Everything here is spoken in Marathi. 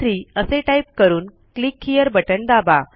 123 असे टाईप करून क्लिक हेरे बटण दाबा